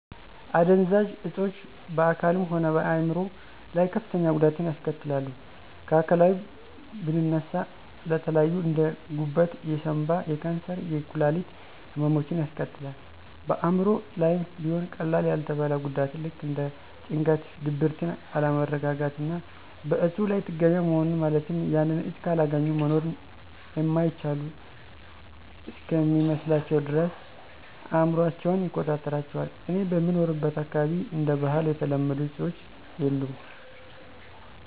አደንዛዥ እፆች በአካልም ሆነ በአይምሮ ላይ ከፍተኛ ጉዳትን ያስከትላሉ። ከአካላዊ ብንነሳ ለተለያዩ እንደ፦ ጉበት፣ የሳንባ፣ የካንሰር፣ የኩላሊት ህመሞችን ያስከትላል። በአእምሮ ላይም ቢሆን ቀላል ያልተባለ ጉዳትን ልክ እንደ ጭንቀት፣ ድብርትን፣ አለመረጋጋትና በእፁ ላይ ጥገኛ መሆንን ማለትም ያንን እፅ ካላገኙ መኖር እማይችሉ እስከሚመስላቸው ድረስ አእምሯቸውን ይቆጣጠራቸዋል። እኔ በምኖርበት አካባቢ እንደ ባህል የተለመዱ አፆች የሉም።